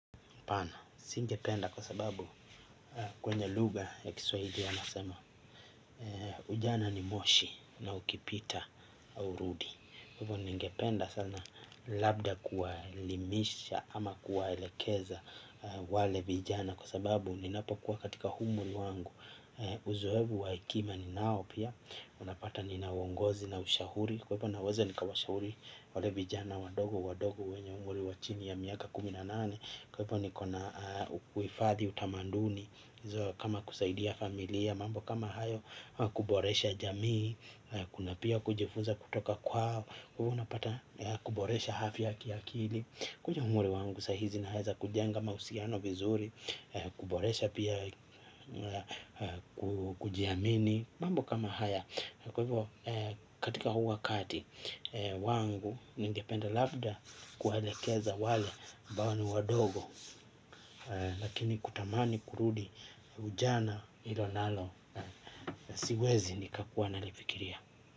Hapana, singependa kwa sababu kwenye lugha ya Kiswahili anasema ujana ni moshi na ukipita haurudi kwa hivyo ningependa sana labda kuwaelimisha ama kuwaelekeza wale vijana kwa sababu ninapokuwa katika umri wangu uzoefu wa hekima ninao pia unapata nina uongozi na ushauri kwa hivyo ninaweza nikawashauri wale vijana wadogo wadogo wenye umri wa chini wa miaka kumi na nane kwa hivyo niko na uhifadhi, utamaduni kama kusaidia familia mambo kama hayo kuboresha jamii kuna pia kujifunza kutoka kwao, wewe unapata kuboresha afya kiakili kuja umri wangu saa hizi naweza kujenga mahusiano vizuri, kuboresha pia kujiamini mambo kama haya kwa hivyo katika huu wakati wangu ningependa labda kuwaelekeza wale ambao ni wadogo lakini kutamani kurudi ujana hilo nalo siwezi nikakuwa nalifikiria.